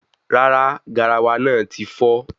Rárá, garawa náà tí fọ́